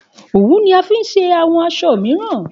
Òwú ni a fi ṣe àwọn aṣọ mìíràn